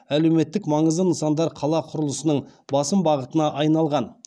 әлеуметтік маңызды нысандар қала құрылысының басым бағытына айналған